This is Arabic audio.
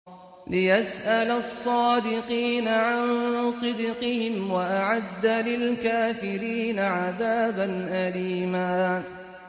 لِّيَسْأَلَ الصَّادِقِينَ عَن صِدْقِهِمْ ۚ وَأَعَدَّ لِلْكَافِرِينَ عَذَابًا أَلِيمًا